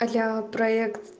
а я проект